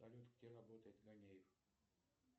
салют где работает ганеев